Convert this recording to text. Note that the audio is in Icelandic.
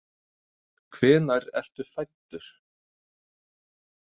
Hvenær ertu fæddur?